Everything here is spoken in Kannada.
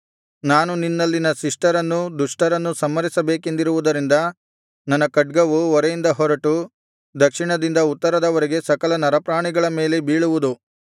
ನಾನು ನಿನ್ನಲ್ಲಿನ ಶಿಷ್ಟರನ್ನೂ ದುಷ್ಟರನ್ನೂ ಸಂಹರಿಸಬೇಕೆಂದಿರುವುದರಿಂದ ನನ್ನ ಖಡ್ಗವು ಒರೆಯಿಂದ ಹೊರಟು ದಕ್ಷಿಣದಿಂದ ಉತ್ತರದವರೆಗೆ ಸಕಲ ನರಪ್ರಾಣಿಗಳ ಮೇಲೆ ಬೀಳುವುದು